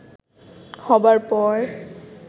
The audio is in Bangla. হবার পর